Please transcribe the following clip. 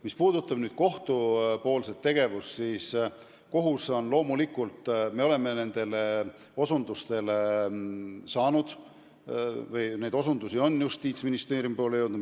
Mis puudutab kohtute tegevust, siis sellekohaseid osutusi on Justiitsministeeriumi jõudnud.